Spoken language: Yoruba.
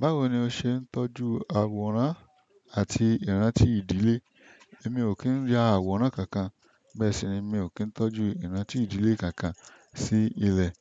Báwo ni o ṣe ń tọ́jú àwòrán àti ìrántí ìdílé? Èmi ò kí ń yà àwòrán kankan, bẹ́ẹ̀ sì ni mi ò kí ń tọ́jú ìrántí ìdílé kankan sí ilẹ̀.